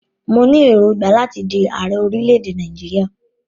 Mo ní èròngbà láti di ààrẹ orílẹ̀-èdè Nàìjíríà.